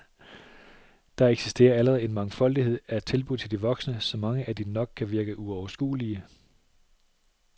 Der eksisterer allerede en mangfoldighed af tilbud til de voksne, så mange at de nok kan virke uoverskuelige.